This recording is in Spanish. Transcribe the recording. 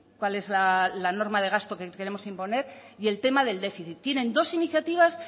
cuál es la norma de gasto que queremos imponer y el tema del déficit tienen dos iniciativas